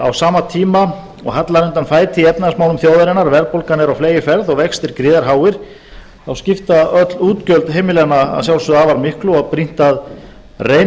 á sama tíma og hallar undan fæti í efnahagsmálum þjóðarinnar verðbólgan er á fleygiferð og vextir gríðarháir þá skipta öll útgjöld heimilanna að sjálfsögðu afar miklu og brýnt að reyna